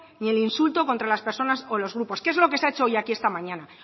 ni el insulto contra las personas o los grupos que es lo que se ha hecho hoy aquí esta mañana